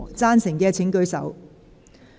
贊成的請舉手。